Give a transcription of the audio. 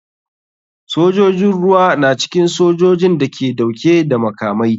Sojojin ruwa na cikin sojojin da ke dauke da makamai.